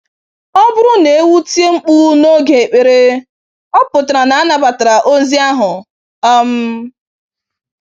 Ọ bụrụ na ewu tie mkpu n'oge ekpere, ọ pụtara na a nabatara ozi ahụ. um